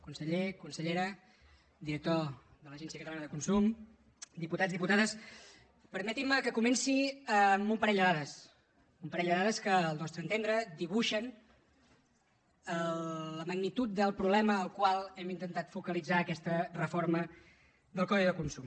conseller consellera director de l’agència catalana del consum diputats diputades permetin me que comenci amb un parell de dades un parell de dades que al nostre entendre dibuixen la magnitud del problema al qual hem intentat focalitzar aquesta reforma del codi de consum